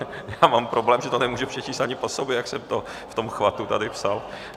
Já mám problém, že to nemůžu přečíst ani po sobě, jak jsem to v tom chvatu tady psal.